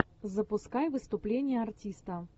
запускай выступление артиста